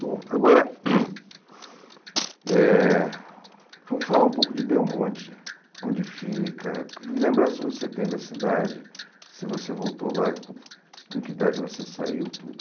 Bom, agora hum eh vamos falar um pouco de Belmonte, onde fica, que lembranças você tem da cidade, se você voltou lá, com que idade você saiu, tudo.